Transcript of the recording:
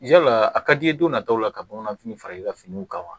Yala a ka d'i ye don nataw la ka bamananfini fara i ka finiw kama